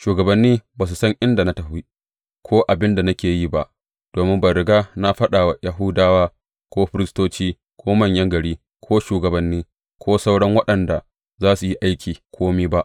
Shugabanni ba su san inda na tafi, ko abin da nake yi ba, domin ban riga na faɗa wa Yahudawa, ko firistoci, ko manyan gari, ko shugabanni, ko sauran waɗanda za su yi aiki, kome ba.